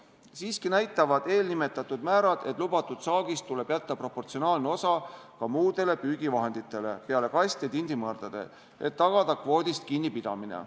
Siiski näitavad eelnimetatud määrad, et lubatud saagist tuleb jätta proportsionaalne osa ka muudele püügivahenditele peale kast- ja tindimõrdade, et tagada kvoodist kinnipidamine.